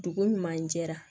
Dugu ɲuman jɛra